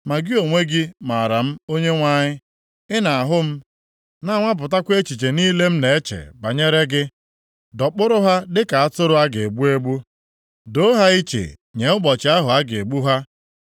Ma gị onwe gị maara m Onyenwe anyị; ị na-ahụ m, na-anwapụtakwa echiche niile m na-eche banyere gị. Dọkpụrụ ha dịka atụrụ a ga-egbu egbu. Doo ha iche nye ụbọchị ahụ a ga-egbu ha.